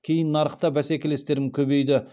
кейін нарықта бәсекелестерім көбейді